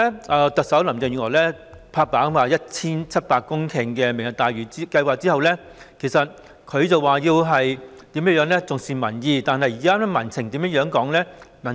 自特首林鄭月娥"拍板"推出 1,700 公頃的"明日大嶼願景"後，雖然她說會重視民意，但現時民情為何呢？